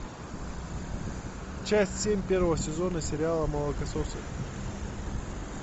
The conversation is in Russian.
часть семь первого сезона сериала молокососы